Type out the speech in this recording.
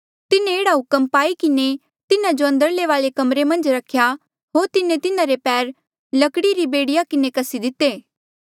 तिन्हें एह्ड़ा हुक्म पाई किन्हें तिन्हा जो अंदरले वाले कमरे मन्झ रख्या होर तिन्हें तिन्हारे पैर लकड़ी री बेड़िया किन्हें कस्सी दिते